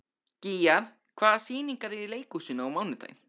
Gígjar, hvaða sýningar eru í leikhúsinu á mánudaginn?